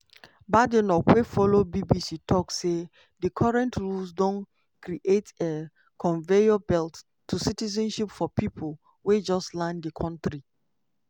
badenoch wey follow bbc tok say di current rules don create a "conveyor belt" to citizenship for pipo wey just land di kontri.